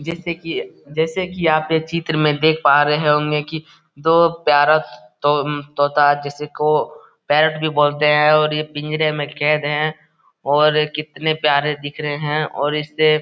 जैसे कि जैसे कि आप एक चित्र में देख पा रहे होंगे कि दो प्यारा सा तो एम तोता जिसको पैरेट भी बोलते है और यह पिंजरे में कैद हैं और कितने प्यारे दिख रहे हैं और इससे--